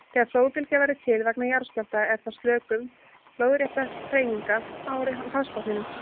Þegar flóðbylgja verður til vegna jarðskjálfta er það sökum lóðréttra hreyfinga á hafsbotninum.